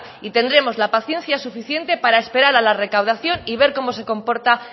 y tendremos la paciencia suficiente para esperar a la recaudación y ver cómo se comporta